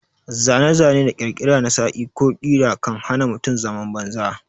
Zane-zane da ƙirkira na saƙi ko ƙira kan hana mutum zaman banza.